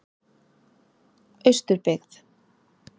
Austurbyggð